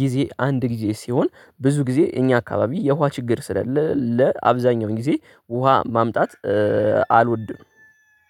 ጊዜ አንድ ጊዜ ሲሆን ብዙ ጊዜ እኛ አካባቢ የውሃ ችግር ስለሌለ ለአብዛኛው ጊዜ ውሃ ማምጣት አልወድም።